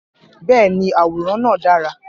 Bẹ́ẹ̀ ni, àwòrán náà dára.